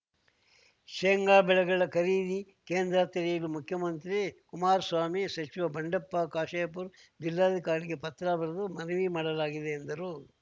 ಶೇಂಗಾ ಬೆಳೆಗಳ ಖರೀದಿ ಕೇಂದ್ರ ತೆರೆಯಲು ಮುಖ್ಯಮಂತ್ರಿ ಕುಮಾರಸ್ವಾಮಿ ಸಚಿವ ಬಂಡೆಪ್ಪ ಕಾಶೆಂಪೂರ್‌ ಜಿಲ್ಲಾಧಿಕಾರಿಗೆ ಪತ್ರ ಬರೆದು ಮನವಿ ಮಾಡಲಾಗಿದೆ ಎಂದರು